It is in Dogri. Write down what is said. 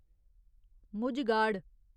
मुझ गाड़